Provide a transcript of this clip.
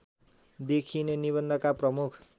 देखिने निबन्धका प्रमुख